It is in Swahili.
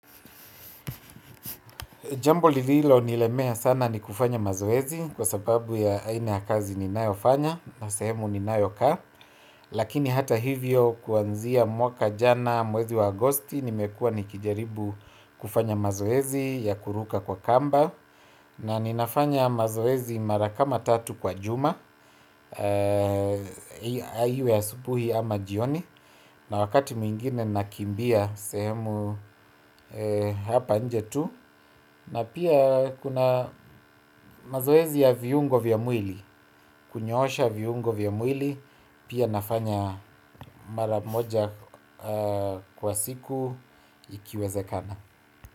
Jambo lililo nilemea sana ni kufanya mazoezi kwa sababu ya aina ya kazi ninayo fanya na sehemu ninayo kaa. Lakini hata hivyo kuanzia mwaka jana mwezi wa agosti nimekuwa nikijaribu kufanya mazoezi ya kuruka kwa kamba. Na ninafanya mazoezi mara kama tatu kwa juma iwe asubuhi ama jioni. Na wakati mwingine nakimbia sehemu hapa nje tu. Na pia kuna mazoezi ya viungo vya mwili. Kunyoosha viungo vya mwili. Pia nafanya mara moja kwa siku ikiwezekana.